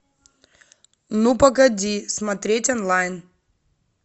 ну погоди смотреть онлайн